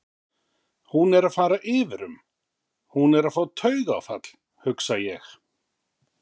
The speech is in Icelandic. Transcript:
Hún er að fara yfir um, hún er að fá taugaáfall, hugsa ég-